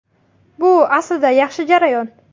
Bu aslida yaxshi jarayon.